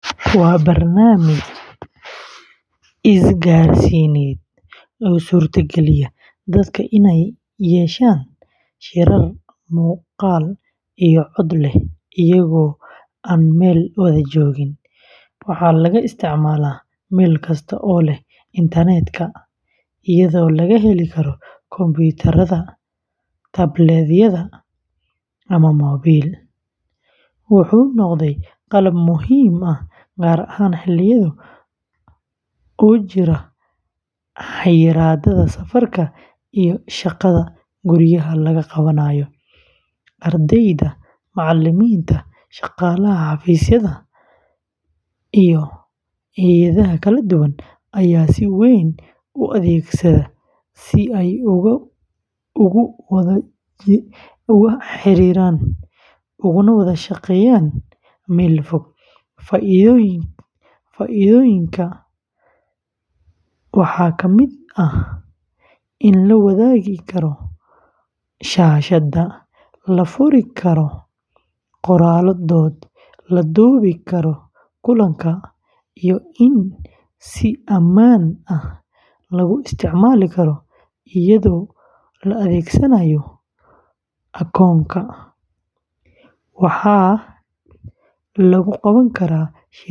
Waa barnaamij isgaarsiineed oo u suurtageliya dadka inay yeeshaan shirar muuqaal iyo cod leh iyagoo aan meel wada joogin. Waxaa laga isticmaalaa meel kasta oo leh internet-ka, iyadoo laga geli karo kombiyuutar, tablet-yada, ama moobil, wuxuu noqday qalab muhiim ah gaar ahaan xilliyadii uu jiray xayiraadda safarka iyo shaqada guryaha laga qabanayay. Ardayda, macalimiinta, shaqaalaha xafiisyada, iyo hay’adaha kala duwan ayaa si weyn u adeegsada si ay ugu wada xiriiraan, uguna wada shaqeeyaan meel fog. Faa’iidooyinka waxaa ka mid ah in la wadaagi karo shaashadda, la furi karo qoraallo dood, la duubi karo kulanka, iyo in si ammaan ah lagu isticmaali karo iyadoo la adeegsanayo akoonka. Waxaa lagu qaban karaa shirar.